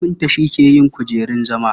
Kafinta shi ke yin kujerun zama.